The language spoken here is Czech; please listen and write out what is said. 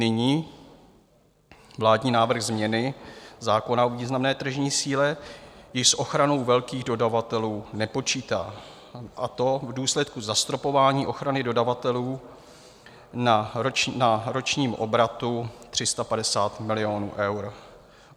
Nyní vládní návrh změny zákona o významné tržní síle již s ochranou velkých dodavatelů nepočítá, a to v důsledku zastropování ochrany dodavatelů na ročním obratu 350 milionů eur.